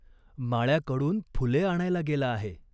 माळ्याकडून फुले आणायला गेला आहे.